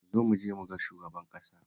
Zo mu je mu ga shugaban ƙasa